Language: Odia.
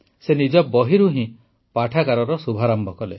ସେ ନିଜ ବହିରୁ ହିଁ ପାଠାଗାରର ଶୁଭାରମ୍ଭ କଲେ